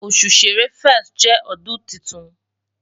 osu Ṣẹrẹ 1st jẹ ọdun titun